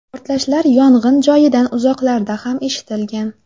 Portlashlar yong‘in joyidan uzoqlarda ham eshitilgan.